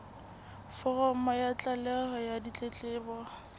foromo ya tlaleho ya ditletlebo